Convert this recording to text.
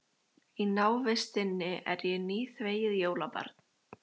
Í návist þinni er ég nýþvegið jólabarn.